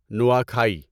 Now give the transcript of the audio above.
Nuakhai